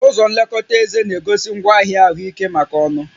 Ụzọ nlekọta éze na-egosi ngwaahịa ahụike maka ọnụ